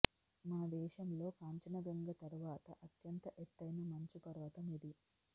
మన దేశంలో కాంచన గంగ తర్వాత అత్యంత ఎత్తైన మంచు పర్వతం ఇది